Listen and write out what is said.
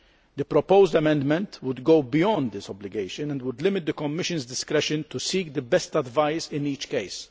The proposed amendment would go beyond this obligation and would limit the Commission's discretion to seek the best advice in each case.